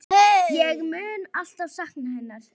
Ég mun alltaf sakna hennar.